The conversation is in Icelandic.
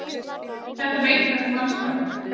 Þetta veit hvert mannsbarn.